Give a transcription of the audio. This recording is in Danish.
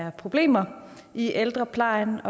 af problemer i ældreplejen